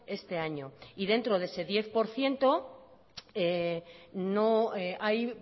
este año y dentro de ese diez por ciento no hay